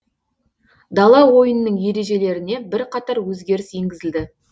дала ойынының ережелеріне бірқатар өзгеріс енгізілді